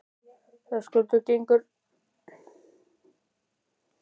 Höskuldur: Gengur ekkert að ryðja veginn?